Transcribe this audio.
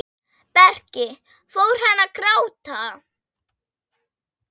Breki: Fór hann að gráta?